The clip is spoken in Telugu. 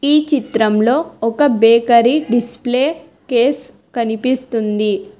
ఈ చిత్రంలో ఒక బేకరీ డిస్ప్లే కేస్ కనిపిస్తుంది.